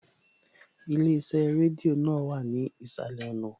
Ilé iṣẹ́ rédíò náà wà ní ìsàlẹ̀ ọ̀nà